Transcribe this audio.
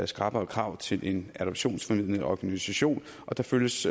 skrappere krav til en adoptionsformidlende organisation og der følges